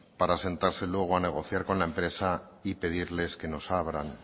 para sentarse luego a negociar con la empresa y pedirles que nos abran